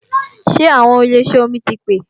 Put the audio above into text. Ṣé àwọn ilé ìṣẹ́ omi ti pè